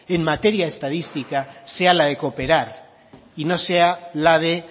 en materia estadística sea la de cooperar y no sea la de